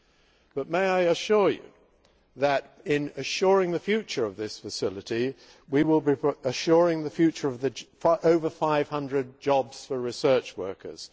However, I would point out that, in assuring the future of this facility, we will be assuring the future of over 500 jobs for research workers.